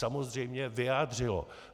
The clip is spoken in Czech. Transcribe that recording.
Samozřejmě vyjádřilo.